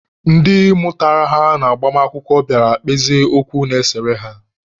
Ndị mụtara ha n'agbamakwụkwọ bịara kpezie okwu na-esere ha.